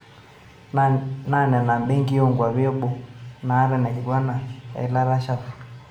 Naa nena benkii o nkwapi eboo naata ina kigwana eilata shafu